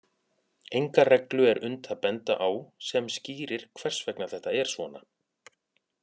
Enga reglu er unnt að benda á sem skýrir hvers vegna þetta er svona.